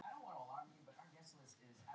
Þar hófst partíið um miðnætti.